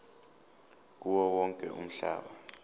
kuwo wonke umhlaba